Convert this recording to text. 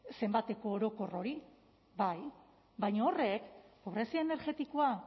zenbateko orokor hori bai baina horrek pobrezia energetikoa